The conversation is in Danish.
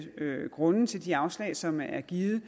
grunde til de afslag som er givet